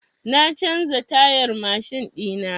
Na canza tayar mashin ɗina.